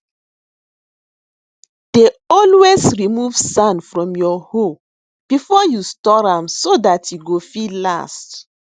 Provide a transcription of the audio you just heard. dey always remove sand from your hoe before you store am so dat e go fit last